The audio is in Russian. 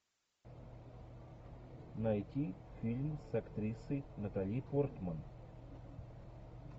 найти фильм с актрисой натали портман